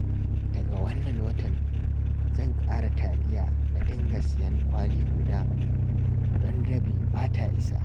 Daga wannan watan, zan ƙara taliya na dinga sayen kwali guda, don rabi ba ta isa